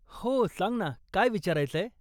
हो. सांग ना काय विचारायचंय?